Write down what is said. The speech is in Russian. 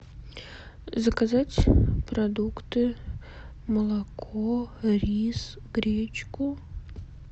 заказать продукты молоко рис гречку